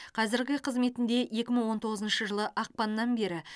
қазіргі қызметінде екі мың он тоғызыншы жылы ақпаннан бері